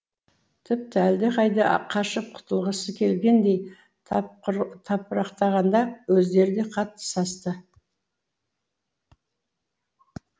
тіпті әлдеқайда қашып құтылғысы келгендей тапырақтағанда өздері де қатты састы